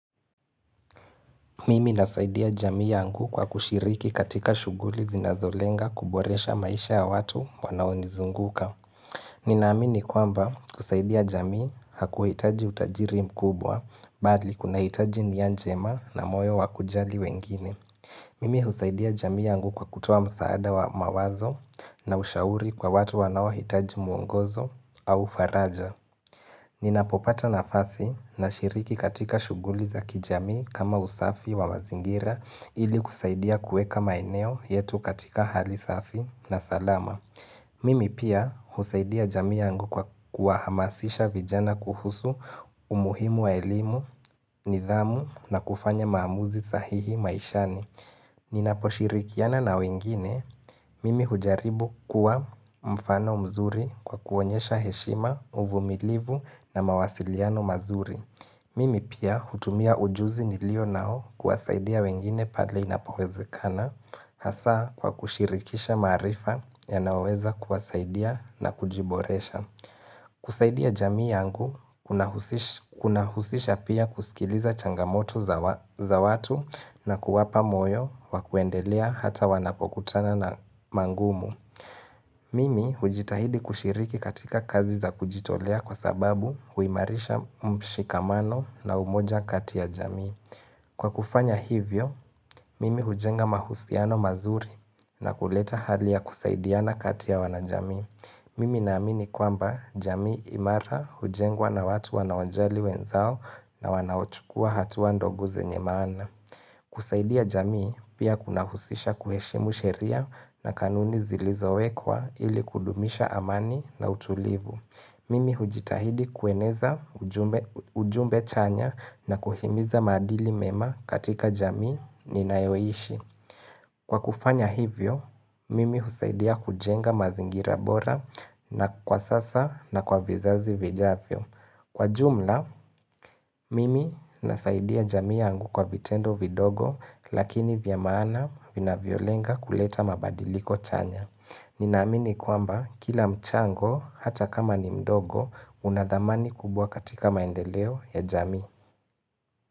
Mimi nasaidia jamii yangu kwa kushiriki katika shuguli zinazolenga kuboresha maisha ya watu wanaonizunguka. Ninaamini kwamba kusaidia jamii hakuhitaji utajiri mkubwa bali kuna hitaji nia njema na moyo wakujali wengine. Mimi husaidia jamii yangu kwa kutoa msaada wa mawazo na ushauri kwa watu wanaohitaji muongozo au faraja. Ninapopata nafasi nashiriki katika shuguli za kijamii kama usafi wa mazingira ili kusaidia kueka maeneo yetu katika hali safi na salama. Mimi pia husaidia jamii yangu kwa kuwahamasisha vijana kuhusu umuhimu wa elimu, nidhamu na kufanya maamuzi sahihi maishani. Ninaposhirikiana na wengine, mimi hujaribu kuwa mfano mzuri kwa kuonyesha heshima, uvumilivu na mawasiliano mazuri Mimi pia hutumia ujuzi nilionao kuwasaidia wengine padle inapowezekana Hasa kwa kushirikisha maarifa yanaoweza kuwasaidia na kujiboresha kusaidia jamii yangu, kuna husisha pia kusikiliza changamoto za watu na kuwapa moyo wa kuendelea hata wanapokutana na mangumu. Mimi hujitahidi kushiriki katika kazi za kujitolea kwa sababu huimarisha mshikamano na umoja kati ya jamii. Kwa kufanya hivyo, mimi hujenga mahusiano mazuri na kuleta hali ya kusaidiana kati ya wanajamii. Mimi naamini kwamba jamii imara hujengwa na watu wanaojali wenzao na wanaochukua hatua ndogo zenye maana. Kusaidia jamii pia kuna husisha kuheshimu sheria na kanuni zilizowekwa ili kudumisha amani na utulivu. Mimi hujitahidi kueneza ujumbe chanya na kuhimiza maadili mema katika jamii ninayoishi. Kwa kufanya hivyo, mimi husaidia kujenga mazingira bora na kwa sasa na kwa vizazi vijavyo. Kwa jumla, mimi nasaidia jamii yangu kwa vitendo vidogo lakini vya maana vinavyo lenga kuleta mabadiliko chanya. Ninaamini kwamba kila mchango hata kama ni mdogo unadhamani kubwa katika maendeleo ya jamii.